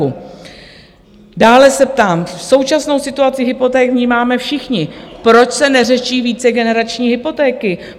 Dále se ptám - současnou situaci hypoték vnímáme všichni - proč se neřeší vícegenerační hypotéky?